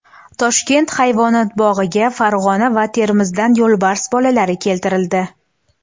Toshkent hayvonot bog‘iga Farg‘ona va Termizdan yo‘lbars bolalari keltirildi.